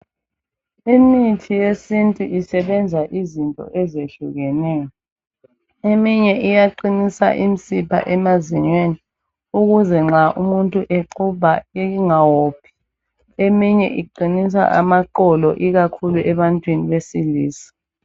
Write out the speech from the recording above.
Imithi yesintu isebenza izinto ezehlukeneyo eminye iyaqinisa imsipha emazinyweni ukuze nxa umuntu exubha ingophi eminye iqinisa amaqolo ikakhulu ebantwini besilisa.